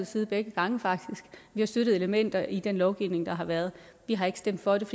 side begge gange vi har støttet elementer i den lovgivning der har været vi har ikke stemt for dem